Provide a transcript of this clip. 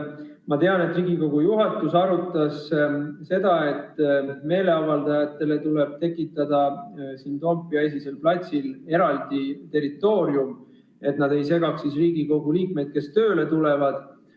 Ma tean, et Riigikogu juhatus arutas seda, et meeleavaldajatele tuleb tekitada siin Toompea lossi esisel platsil eraldi territoorium, et nad ei segaks Riigikogu liikmeid, kes tööle tulevad.